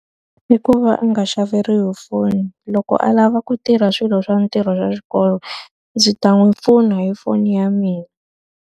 I ku va a nga xaveriwi foni. Loko a lava ku tirha swilo swa ntirho wa xikolo, ndzi ta n'wi pfuna hi foni ya mina.